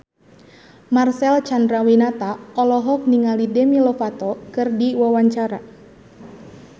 Marcel Chandrawinata olohok ningali Demi Lovato keur diwawancara